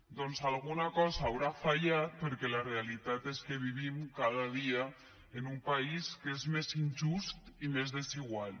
doncs alguna cosa deu haver fallat perquè la realitat és que vivim cada dia en un país que és més injust i més desigual